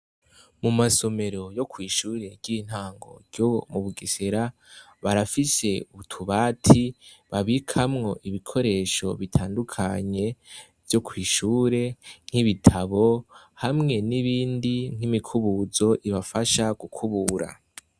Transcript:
Mu masomero yo kwishure ry'intango ryo mu bugisera barafishe utubati babikamwo ibikoresho bitandukanye vyo kwishure nk'ibitabo hamwe n'ibindi nk'imikubuzo ibafasha gukubura.